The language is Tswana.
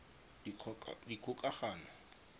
dikgokagano